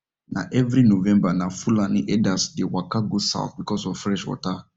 na every november na fulani herders dey waka go south because of fresh water